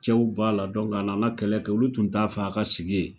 Cɛw b'a la a nana kɛlɛ kɛ olu tun t'a fɛ a ka sigi ye.